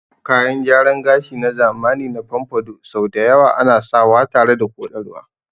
Kayan gyaran gashi na zamani na pompadour sau da yawa ana sawa tare da koɗarwa.